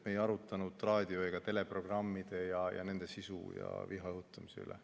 Me ei arutanud raadio- ega teleprogramme, nende sisu ja viha õhutamist.